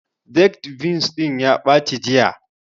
Baked beans ɗin ya ɓaci jiya